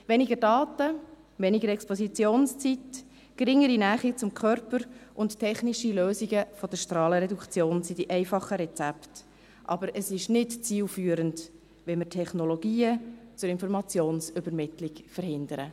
Weniger Daten, weniger Expositionszeit, geringere Nähe zum Körper und technische Lösungen der Strahlenreduktion sind die einfachen Rezepte, aber es ist nicht zielführend, wenn wir Technologien zur Informationsübermittlung verhindern.